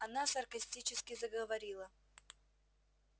она саркастически заговорила